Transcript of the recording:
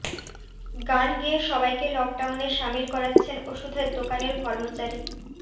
গান গেয়ে সবাইকে লকডাউনে সামিল করাচ্ছেন ওষুধের দোকানের কর্মচারী